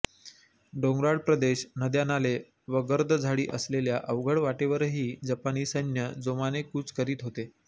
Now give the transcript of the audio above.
डोंगराळ प्रदेश नद्यानाले व गर्द झाडी असलेल्या अवघड वाटेवरही जपानी सैन्य जोमाने कूच करीत होते